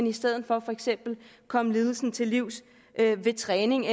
i stedet for for eksempel komme lidelsen til livs ved træning